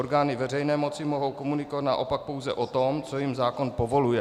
Orgány veřejné moci mohou komunikovat naopak pouze o tom, co jim zákon povoluje.